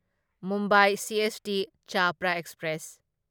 Mumbai CST Chhapra express